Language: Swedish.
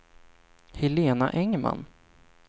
Helena Engman